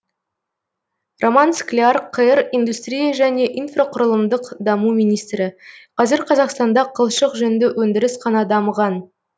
роман скляр қр индустрия және инфрақұрылымдық даму министрі қазір қазақстанда қылшық жүнді өндіріс қана дамыған